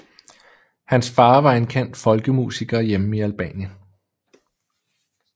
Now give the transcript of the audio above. Hans far var en kendt folkemusiker hjemme i Albanien